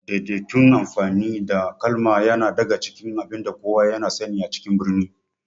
Daidaitun amfani da kalma yana daga cikin abinda kowa ya sani a cikin birni